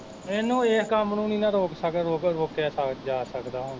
ਏਹਨੂੰ ਇਸ ਕੰਮ ਨੂੰ ਨੀ ਨਾ ਰੋਕ ਸਕ, ਰੋਕਿਆ ਜਾਂ ਸਕਦਾ ਹੁਣ ਕੀ